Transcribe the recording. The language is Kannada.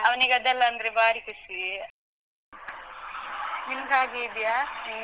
ಅವನಿಗದೆಲ್ಲ ಅಂದ್ರೆ ಬಾರಿ ಖುಷೀ. ನಿಮ್ದು ಹಾಗೆ ಇದ್ಯಾ? ನಿಮ್